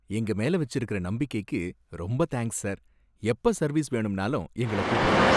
எங்க மேல வச்சிருக்கற நம்பிக்கைக்கு ரொம்ப தேங்க்ஸ், சார். எப்ப சர்வீஸ் வேணும்னாலும் எங்களை கூப்பிடுங்க.